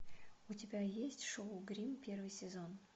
у тебя есть шоу гримм первый сезон